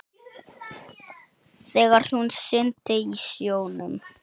Þegar hún synti í sjónum.